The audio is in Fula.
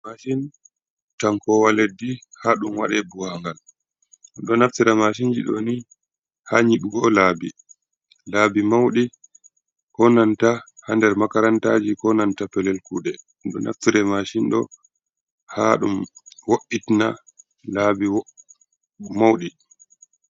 Mashin cankowa leddi ha ɗum waɗe buwangal, ɗum ɗo naftira mashinji ɗo ni ha nyiɓugo laabi, laabi mauɗi konanta ha nder makarantaji ko nanta pelel kuɗe ɗum ɗo naftira mashin ɗo ha ɗum woitina laabi mauɗi.